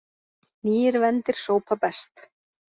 Nýir vendir sópa best.